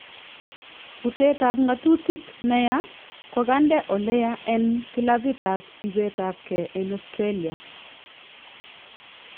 Butet ab ng'atutik neyaa kokande oleyaa en kilapit ab ibeet ab kee en Australia